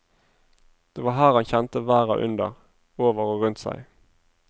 Det var her han kjente verda under, over og rundt seg.